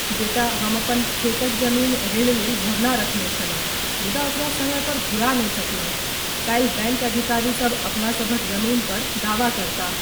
बेटा, हम अपन खेतक जमीन ऋण लेल भरना रखने छलहुँ मुदा ओकरा समय पर घुरा नहि सकलहुँ। काल्हि बैङ्क अधिकारी सब अपना सभक जमीन पर दावा करताह।